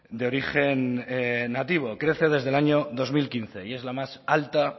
de origen nativo crece desde el año dos mil quince y es la más alta